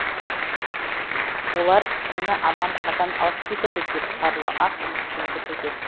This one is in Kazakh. олар мені анам қашан алып кетеді деп сарыла ақ үмітпен күтуде